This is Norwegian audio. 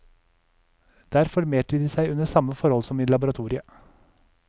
Der formerte de seg under samme forhold som i laboratoriet.